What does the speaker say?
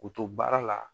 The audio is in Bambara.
K'u to baara la